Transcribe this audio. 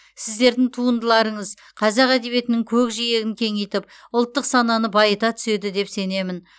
сіздердің туындыларыңыз қазақ әдебиетінің көкжиегін кеңейтіп ұлттық сананы байыта түседі деп сенемін